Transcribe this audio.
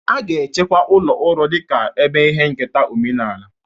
A ga-echekwa ụlọ uro dị ka ebe ihe nketa omenala.